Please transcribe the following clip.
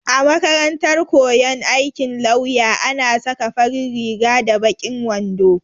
A makarantar koyon aikin lauya ana saka farin riga da baƙin wando.